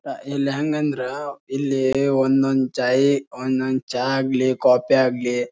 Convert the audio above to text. ಆಹ್ಹ್ ಇಲ್ ಹ್ಯಾಂಗ ಅಂದ್ರ ಇಲ್ಲಿ ಒಂದೊಂದ್ ಚೈ ಒಂದೊಂದ್ ಚಾ ಆಗ್ಲಿ ಕಾಫಿ ಆಗ್ಲಿ--